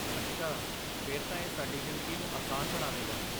ਅੱਛਾ, ਫਿਰ ਤਾਂ ਇਹ ਸਾਡੀ ਜ਼ਿੰਦਗੀ ਨੂੰ ਆਸਾਨ ਬਣਾਵੇਗਾ।